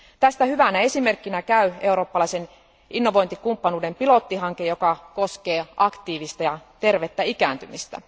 Tästä hyvänä esimerkkinä käy eurooppalaisen innovointikumppanuuden pilottihanke, joka koskee aktiivista ja tervettä ikääntymistä.